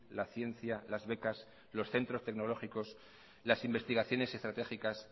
la ciencia las becas los centros tecnológicos las investigaciones estratégicas